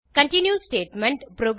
continue statement